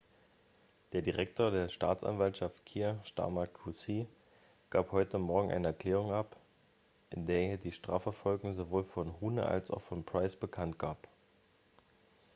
der direktor der staatsanwaltschaft kier starmer qc gab heute morgen eine erklärung ab in der er die strafverfolgung sowohl von huhne als auch von pryce bekanntgab